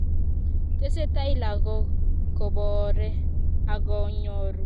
tesetai lagook koboore agonyoru boishet komagikwei